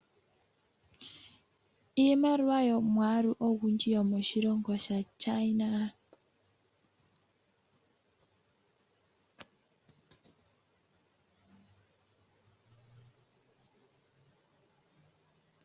Iimaliwa yomwaalu ogundji yomoshilongo shaChina.